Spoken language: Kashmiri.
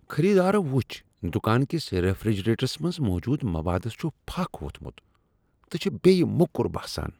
خریدارو وچھ دکان کس ریفریجریٹرس منٛز موجود موادس چھُ پھکھ ووٚتھمت تہٕ چھ بیٚیہ موٚکر باسان۔